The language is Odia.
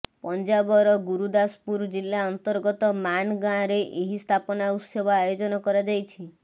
ପଞ୍ଜାବର ଗୁରୁଦାସପୁର ଜିଲ୍ଲା ଅନ୍ତର୍ଗତ ମାନ୍ ଗାଁରେ ଏହି ସ୍ଥାପନା ଉତ୍ସବ ଆୟୋଜନ କରାଯାଇଛି